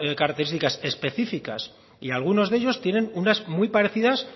características específicas y algunos de ellos tienen unas muy parecidas